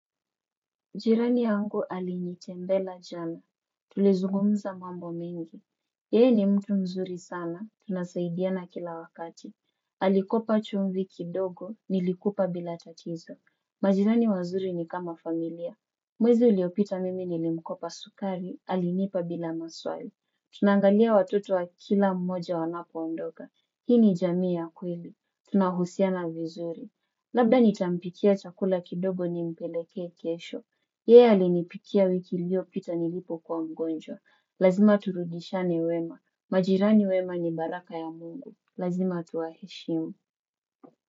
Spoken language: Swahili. Jirani yangu alinitembelea jana. Tulizungumza mambo mengi. Yeye ni mtu mzuri sana. Tunasaidiana kila wakati. Alikopa chumvi kidogo. Nilikupa bila tatizo. Majirani wazuri ni kama familia. Mwezi uliopita mimi nilimkopa sukari. Alinipa bila maswali. Tunaangalia watoto wa kila mmoja wanapo ondoka. Hii ni jamii ya kweli. Tunahusiana vizuri. Labda nitampikia chakula kidogo nimpelekee kesho. Yeye alinipikia wiki ilio pita nilipokuwa mgonjwa lazima turudishiane wema majirani wema ni baraka ya mungu lazima tuwaheshimu.